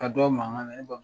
Ka dɔ man kan na ne ba